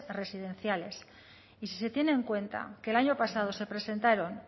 residenciales y si se tiene en cuenta que el año pasado se presentaron